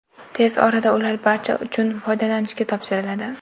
Tez orada ular barcha uchun foydalanishga topshiriladi.